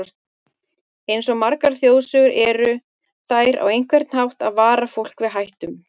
Eins og margar þjóðsögur eru, þær eru á einhvern hátt að vara fólk við hættum.